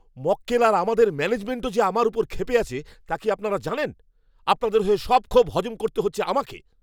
মক্কেল আর আমাদের ম্যানেজমেণ্টও যে আমার ওপর ক্ষেপে আছে তা কি আপনারা জানেন? আপনাদের হয়ে সব ক্ষোভ হজম করতে হচ্ছে আমাকে।